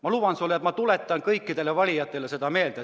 Ma luban sulle, et ma tuletan kõikidele valijatele seda meelde.